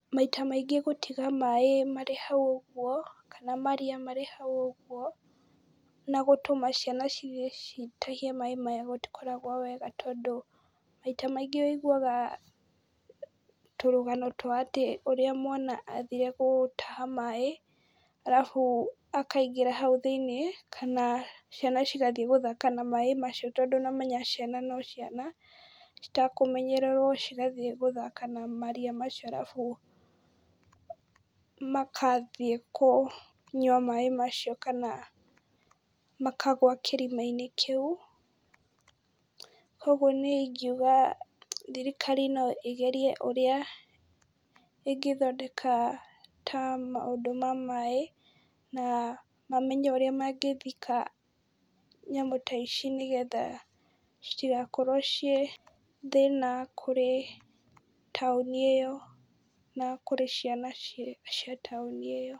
Maita maingĩ gũtiga maĩ marĩ hau ũguo kana maria marĩ hau ũguo na gũtũma ciana cithiĩ citahie maĩ maya gũtikoragwo wega, tondũ maita maingĩ wĩiguga tũrũgano twa atĩ ũrĩa mwana athire gũtaha maĩ, arabu akaingĩra hau thĩiniĩ kana ciana cigathiĩ gũthaka na maĩ macio, tondũ nĩwamenya ciana no ciana, citekũmenyererwo cigathiĩ gũthaka na maria macio arabu magathiĩ kũnyua maĩ macio kana makagũa kĩrima-inĩ kĩu, kuoguo niĩ ingiuga thirikari no ĩgerie ũrĩa ĩngĩthondeka ta maũndũ ma maĩ, na mamenye ũrĩa mangĩthika nyamũ ta ici, nĩgetha citigakorwo ciĩ thĩna kũrĩ taũni ĩyo na kũrĩ ciana cia taũni ĩyo.